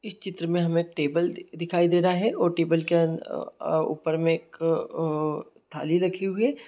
इस चित्र में हमे एक टेबल दिखाई दे रहा है और टेबल के अ-अ-ऊपर में एक थाली रखी हुई है।